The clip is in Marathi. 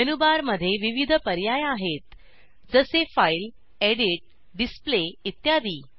मेनू बारमध्ये विविध पर्याय आहेत जसे फाईल एडिट डिसप्ले इत्यादी